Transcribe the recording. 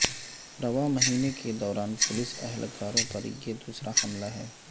رواں مہینے کے دوران پولیس اہلکاروں پر یہ دوسرا حملہ ہے